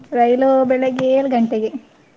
ರೈಲು ಬೆಳಗ್ಗೆ ಏಳು ಗಂಟೆಗೆ.